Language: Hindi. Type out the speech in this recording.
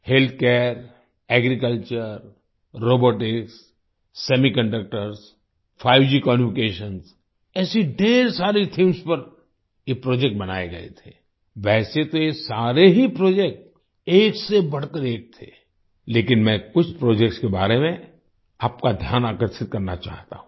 healthcare agriculture robotics semiconductors 5G communications ऐसी ढ़ेर सारी थीम्स पर ये प्रोजेक्ट बनाए गए थे आई वैसे तो ये सारे ही प्रोजेक्ट एक से बढ़कर एक थे लेकिन मैं कुछ प्रोजेक्ट्स के बारे में आपका ध्यान आकर्षित करना चाहता हूँ